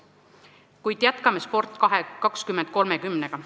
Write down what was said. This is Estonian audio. Kuid jätkame nüüd nn "Sport 2030-ga".